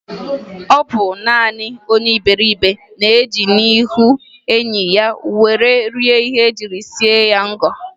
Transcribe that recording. Ọ bụ naanị onye iberibe na-eji n'ihi enyi ya were rie ihe e jiri sie ngọ